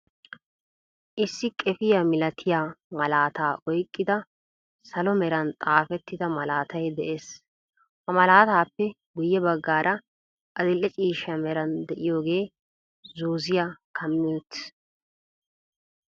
Issi qeefiyaa milaatiyaa malaataa oyqqida salo meran xaafettida malaatay de'ees. ha malataappe guyye baggaara adil"e ciishsha meray de'iyoogee zooziyaa kaami uttiis.